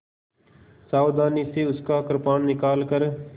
सावधानी से उसका कृपाण निकालकर